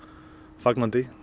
fagnandi